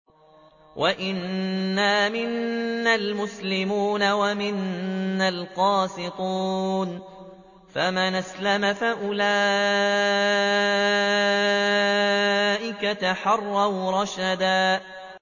وَأَنَّا مِنَّا الْمُسْلِمُونَ وَمِنَّا الْقَاسِطُونَ ۖ فَمَنْ أَسْلَمَ فَأُولَٰئِكَ تَحَرَّوْا رَشَدًا